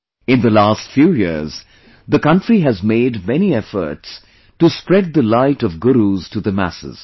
In the last few years, the country has made many efforts to spread the light of Gurus to the masses